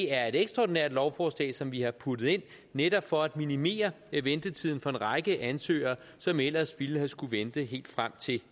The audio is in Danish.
er et ekstraordinært lovforslag som vi har puttet ind netop for at minimere ventetiden for en række ansøgere som ellers ville have skullet vente helt frem til